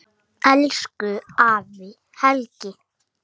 Elsku afi Helgi.